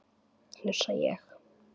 hnussa ég.